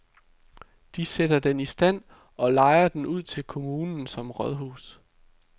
De sætter den i stand, og lejer den ud til kommunen som rådhus.